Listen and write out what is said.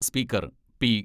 Speaker P.